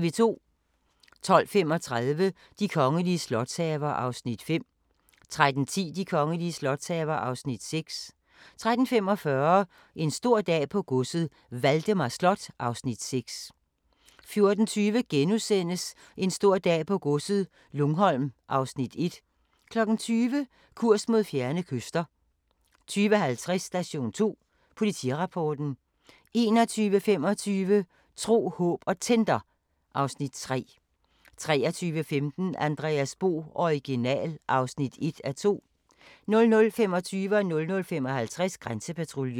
12:35: De kongelige slotshaver (Afs. 5) 13:10: De kongelige slotshaver (Afs. 6) 13:45: En stor dag på godset - Valdemar Slot (Afs. 6) 14:20: En stor dag på godset - Lungholm (Afs. 1)* 20:00: Kurs mod fjerne kyster 20:50: Station 2: Politirapporten 21:25: Tro, håb & Tinder (Afs. 3) 23:15: Andreas Bo - Original (1:2) 00:25: Grænsepatruljen 00:55: Grænsepatruljen